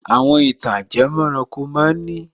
Àwọn ìtàn ajẹmọ́ranko ma ń ní